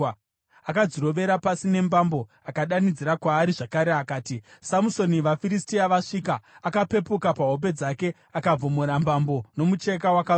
akadzirovera pasi nembambo. Akadanidzira kwaari zvakare akati, “Samusoni, vaFiristia vasvika!” Akapepuka pahope dzake akavhomora mbambo nomucheka wakarukwa.